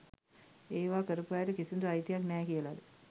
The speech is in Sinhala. ඒවා කරපු අයට කිසිදු අයිතියක් නෑ කියලද